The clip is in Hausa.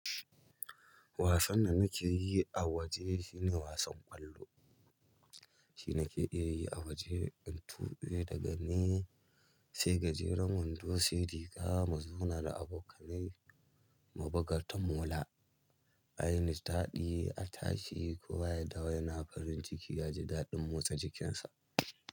Wasan da nake yi a waje shine wasan ƙwallo. Shi nake iyayi a waje in tuɓe daga ni, sai gajeren wando, sai riga, mu zauna da abokanai, mu buga tamola, ayi nishaɗi, a tashi kowa ya dawo yana farin ciki yaji daɗin motsa jikinsa.